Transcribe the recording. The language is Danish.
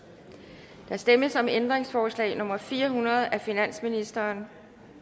der stemmes om ændringsforslag nummer fire hundrede af finansministeren